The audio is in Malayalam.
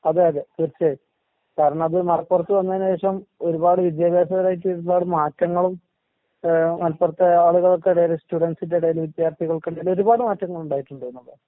അതെ അതെ തീർച്ചയായും. കാരണത് മലപ്പുറത്ത് വന്നേന് ശേഷം ഒരുപാട് വിദ്യാഭ്യാസപരായിട്ട് ഒരുപാട് മാറ്റങ്ങളും ഏഹ് മലപ്പുറത്തെ ആളുകൾക്കെടേല് സ്റ്റുഡന്റ്സിന്റെടേല് വിദ്യാർത്ഥികൾക്കെടേല് ഒരുപാട് മാറ്റങ്ങളുണ്ടായിട്ടുണ്ട് എന്നുള്ളതാണ്.